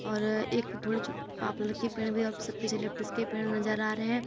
और एक थोड़े यूकेलिप्टस के पेड़ नज़र आ रहे हैं।